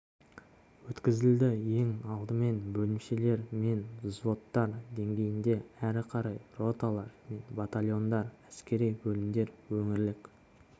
өткізілді ең алдымен бөлімшелер мен взводтар деңгейінде әрі қарай роталар мен батальондар әскери бөлімдер өңірлік